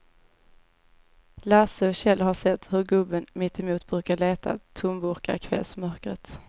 Lasse och Kjell har sett hur gubben mittemot brukar leta tomburkar i kvällsmörkret.